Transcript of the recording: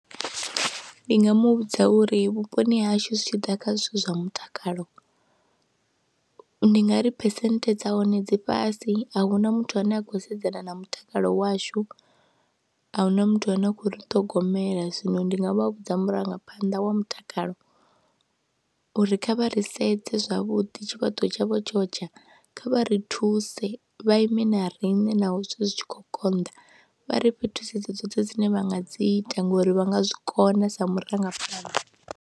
Ndi nga mu vhudza uri vhuponi ha hashu zwi tshi ḓa kha zwithu zwa mutakalo ndi nga ri percent dza hone dzi fhasi, a hu na muthu ane a khou sedzana na mutakalo washu, a hu na muthu ane a khou ri ṱhogomela. Zwino ndi nga vha vhudza murangaphanḓa wa mutakalo uri kha vha ri sedze zwavhuḓi tshifhaṱuwo tshavho tsho tsha, kha vha ri thuse vha ime na riṋe naho zwi tshi khou konḓa, vha ri fhe thusedzo dzoṱhe dzine vha nga dzi ita ngori vha nga zwi kona sa murangaphanḓa.